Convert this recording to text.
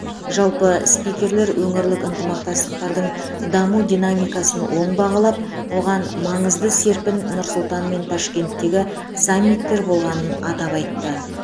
жалпы спикерлер өңірлік ынтымақтастықтың даму динамикасын оң бағалап оған маңызды серпін нұр сұлтан мен ташкенттегі саммиттер болғанын атап айтты